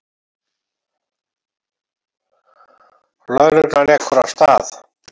Lögreglan ekur af stað.